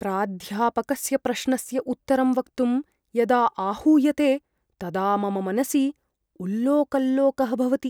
प्राध्यापकस्य प्रश्नस्य उत्तरं वक्तुं यदा आहूयते तदा मम मनसि उल्लोकल्लोकः भवति ।